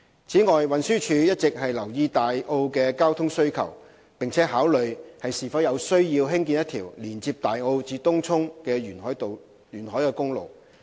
此外，運輸署一直留意大澳的交通需求，並考慮是否有需要興建一條連接大澳至東涌的沿海公路。